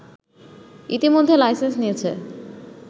ইতোমধ্যে লাইসেন্স নিয়েছে